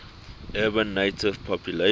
urban native population